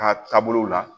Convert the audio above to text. Ka taabolo la